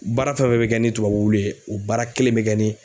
baara fɛn fɛn bɛ kɛ ni tubabu ye u baara kelen bɛ kɛ ni